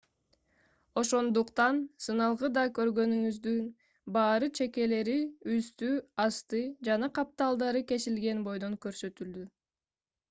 ошондуктан сыналгыда көргөндөрүңүздүн баары чекелери үстү асты жана капталдары кесилген бойдон көрсөтүлдү